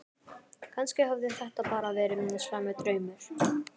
Kannski hafði þetta bara verið slæmur draumur.